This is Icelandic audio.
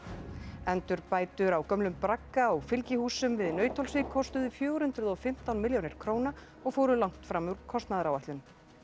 endurbætur á gömlum bragga og fylgihúsum við Nauthólsvík kostuðu fjögur hundruð og fimmtán milljónir króna og fóru langt fram úr kostnaðaráætlun